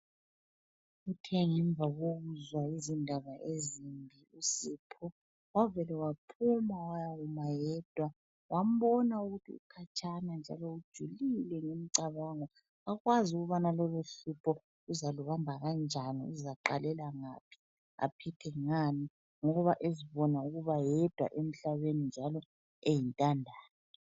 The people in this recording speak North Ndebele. Kuthe ngemva kokuzwa izindaba ezimbi uSipho wavele waphuma wayakuma yedwa wambona ukuthi ukhatshana njalo ujulile ngemicabango, kakwazi ukubana loluhlupho uzalubamba kanjani ,uzaqalela ngaphi ,aphile ngani ngoba ezibona ukuba yedwa emhlabeni njalo eyintandane.